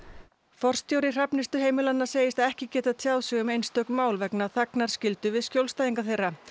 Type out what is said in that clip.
forstjóri Hrafnistuheimilanna segist ekki geta tjáð sig um einstök mál vegna þagnarskyldu við skjólstæðinga þeirra